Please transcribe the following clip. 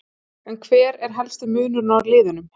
En hver er helsti munurinn á liðunum?